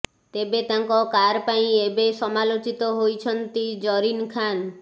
ତେବେ ତାଙ୍କ କାର୍ ପାଇଁ ଏବେ ସମାଲୋଚିତ ହୋଇଛନ୍ତି ଜରିନ୍ ଖାନ୍